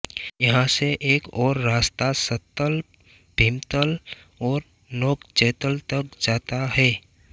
यहां से एक और रास्ता सत्तल भीमतल और नोकचैतल तक जाता है